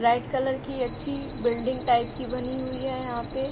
bright colour की अच्छी building type की बनी हुई है यहाँ पे --